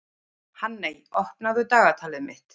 Hanney, opnaðu dagatalið mitt.